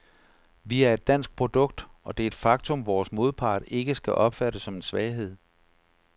Vi er et dansk produkt, og det er et faktum, vores modpart ikke skal opfatte som en svaghed.